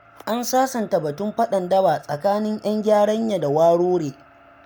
An sasanta batun faɗan daba tsakanin 'yan Gyaranya da Warure.